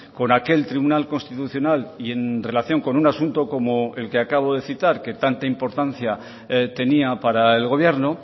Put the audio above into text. con aquel tribunal constitucional y en relación con un asunto como el que acabo de citar que tanta importancia tenía para el gobierno